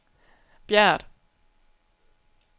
Bjert